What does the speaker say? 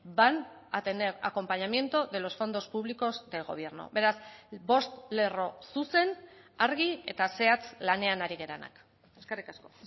van a tener acompañamiento de los fondos públicos del gobierno beraz bost lerro zuzen argi eta zehatz lanean ari garenak eskerrik asko